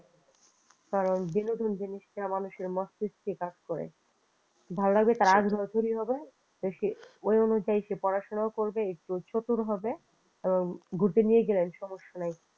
কারণ বিনোদন জিনিসটা মানুষের মস্তিষ্কে কাজ করে ভালো লাগবে তার হবে সে ওই অনুযায়ী সে পড়াশোনাও করবে চতুর হবে ঘুরতে নিয়ে গেলেন সমস্যা নাই।